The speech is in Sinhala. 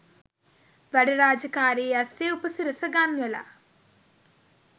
වැඩ රාජකාරි අස්සේ උපසිරස ගන්වලා